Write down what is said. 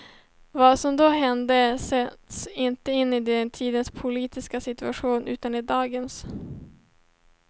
Vad som då hände sätts inte in i den tidens politiska situation, utan i dagens.